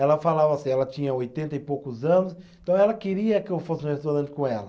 Ela falava assim, ela tinha oitenta e poucos anos, então ela queria que eu fosse no restaurante com ela.